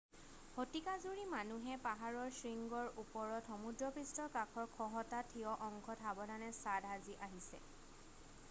শতিকা জুৰি মানুহে পাহাৰৰ শৃংগৰ ওপৰত সমুদ্ৰপৃষ্ঠৰ কাষৰ খহটা ঠিয় অংশত সাৱধানে ছাদ সাজি আহিছে